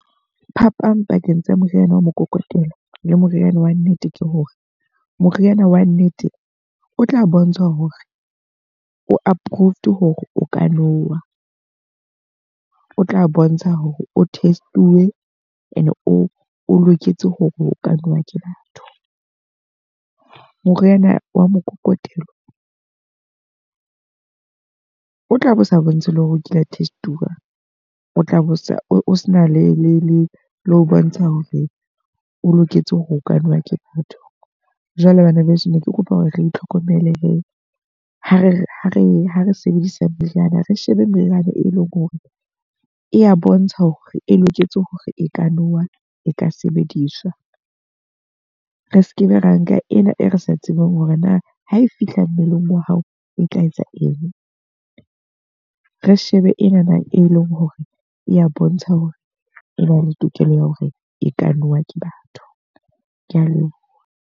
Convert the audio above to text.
Phapang pakeng tsa moriana wa mokokotelo le moriana wa nnete ke hore, moriana wa nnete o tla bontsha hore o aprroved hore o ka nowa. O tla bontsha hore o test-uwe e ne o loketse hore o ka nowa ke batho. Moriana wa mokokotelo o tla bo sa bontshe le hore o kila test-uwa. O tla bo sa o se na le ho bontsha hore o loketse hore o ka nowa ke batho. Jwale bana beso ne ke kopa hore re itlhokomele he. Ha re ha re ha re sebedisa meriana, re shebe meriana e leng hore e ya bontsha hore e loketse hore e ka now a, e ka sebediswa. Re sekebe ra nka ena e re sa tsebeng hore na ha e fihla mmeleng wa hao e tla etsa eng. Re shebe enana e leng hore e ya bontsha hore e na le tokelo ya hore e ka nowa ke batho. Ke a leboha.